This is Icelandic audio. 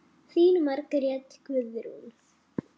Þín Margrét Guðrún.